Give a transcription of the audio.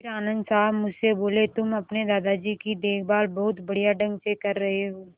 फिर आनन्द साहब मुझसे बोले तुम अपने दादाजी की देखभाल बहुत बढ़िया ढंग से कर रहे हो